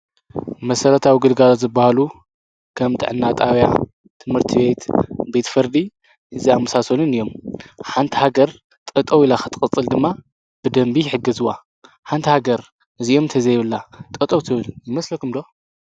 መሠረት ኣውግልጋዛ ዝበሃሉ ከም ጥዕናጣውያ ትምህርቲ ቤት ቤት ፈርዲ እዝኣምሳሰልን እዮም ሓንቲ ሃገር ጠጠው ኢላ ኽጥቕጽል ድማ ብደንቢ ይሕገዝዋ ሓንታ ሃገር እዚየምተ ዘይብላ ጠጠው ትብል ይመስለኩምዶ